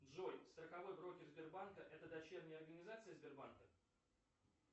джой страховой брокер сбербанка это дочерняя организация сбербанка